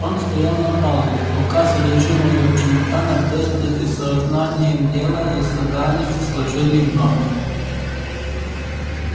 он стоял на палубе пока содержимое его чемодана быстро и со знанием дела разобрали и сложили вновь